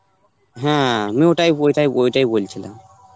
হ্যাঁ, আমিও ওটাই ওটাই ওইটাই বলছিলাম.